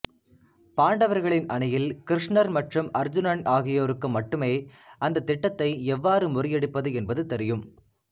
பாண்டவர்களின் அணியில் கிருஷ்ணர் மற்றும் அர்ஜூனன் ஆகியோருக்கும் மட்டுமே அந்தத் திட்டத்தை எவ்வாறு முறியடிப்பது என்பது தெரியும்